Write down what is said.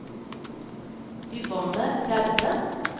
Yvonne Gjerde